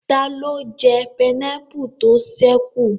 Taló jẹ pineapple tó ṣẹ́ kù?